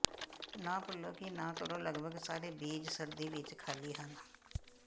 ਨਾ ਭੁੱਲੋ ਕਿ ਨਾ ਕਰੋ ਲਗਭਗ ਸਾਰੇ ਬੀਚ ਸਰਦੀ ਵਿੱਚ ਖਾਲੀ ਹਨ